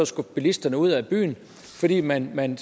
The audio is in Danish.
skubbe bilisterne ud af byen fordi man man